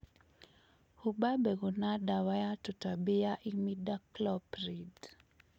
humba mbegũ na dawa ya tũtambi ya imidacloprid